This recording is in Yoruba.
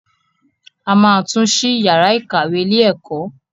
A ma tún ṣí yàrá ìkàwé ilé ẹ̀kọ́.